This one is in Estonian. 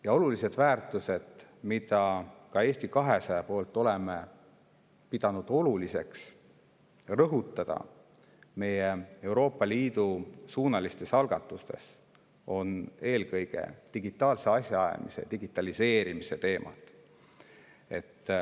Ja olulised väärtused, mida Eesti 200 on pidanud tähtsaks rõhutada meie Euroopa Liidu suunalistes algatustes, on eelkõige digitaalse asjaajamise ja digitaliseerimise teemad.